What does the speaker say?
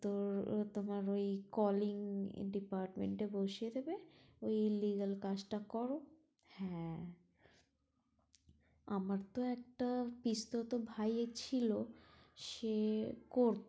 তোর তোমার ওই calling department এ বসিয়ে দেবে ওই illegal কাজটা করো হ্যাঁ আমার তো একটা পিসতুতো ভাইয়ের ছিলো সে করতো